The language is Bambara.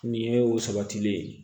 Nin ye o sabatilen ye